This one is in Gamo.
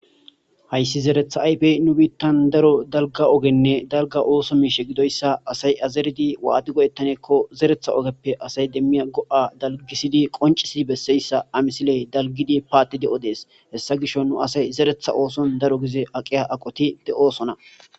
hayssi zeretha ayfe nu biittan daro dalga ogenne dalga ooso miishe gidoyssa asay azeridi waati godettaneekko zeretha ogeppe asay demmiya go7a dalgisidi qoncisi besseyssa amisiley dalgidi paati de7o dees hessa gisho nu asay zeretha ooson daro gize aqiya aqoti de7osona